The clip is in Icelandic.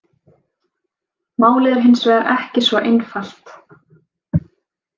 Málið er hins vegar ekki svo einfalt.